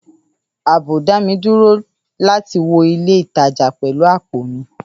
Ààbò dá mi dúró láti wọ ilé ìtajà pẹ̀lú àpò mi.